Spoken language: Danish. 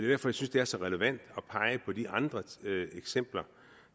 jeg synes det er så relevant at pege på de andre eksempler